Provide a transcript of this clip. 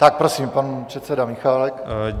Tak prosím, pan předseda Michálek.